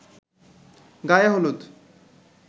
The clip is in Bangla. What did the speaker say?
গায়ে হলুদ